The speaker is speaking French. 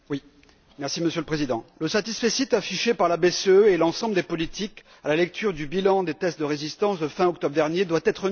Monsieur le Président, le satisfecit affiché par la BCE et l'ensemble des politiques à la lecture du bilan des tests de résistance de fin octobre dernier doit être nuancé.